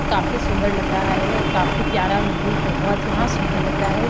काफी सुंदर लग रहा है और काफी प्यार मीवी बहुत यहाँ सुंदर लग रहा है।